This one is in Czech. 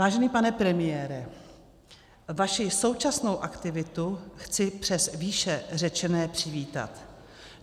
Vážený pane premiére, vaši současnou aktivitu chci přes výše řečené přivítat.